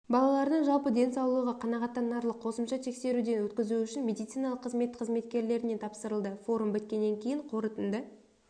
балалардың жалпы денсаулығы қанағаттанарлық қосымша тексеруден өткізу үшін медициналық қызмет қызметкерлеріне тапсырылды форум біткеннен кейін қорытынды